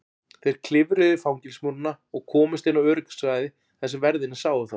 Þeir klifruðu yfir fangelsismúrana og komust inn á öryggissvæði þar sem verðirnir sáu þá.